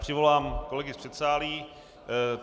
Přivolám kolegy z předsálí.